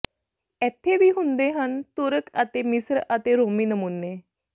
ਇੱਥੇ ਵੀ ਹੁੰਦੇ ਹਨ ਤੁਰਕ ਅਤੇ ਮਿਸਰ ਅਤੇ ਰੋਮੀ ਨਮੂਨੇ